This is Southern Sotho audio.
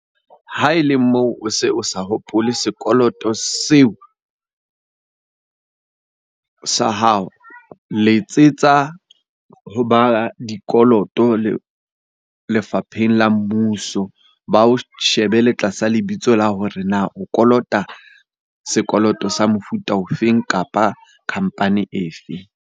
Ha e le moo o se o sa hopole sekoloto seo sa hao. Letsetsa ho ba dikoloto lefapheng la mmuso, ba o shebele tlasa lebitso la hore na o kolota sekoloto sa mofuta o feng kapa company e fe?